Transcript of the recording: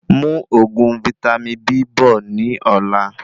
Mú òògùn vítámì B bọ̀ ní ọ̀la